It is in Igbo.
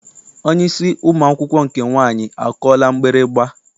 Onye isi ụmụ akwụkwọ nke nwaanyị akụọla mgbịrịgba?